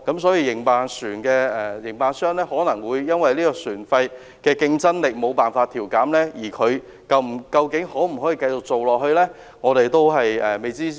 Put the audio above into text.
船的營辦商可能因為船費無法調減而欠缺競爭力，能否繼續經營也是未知之數。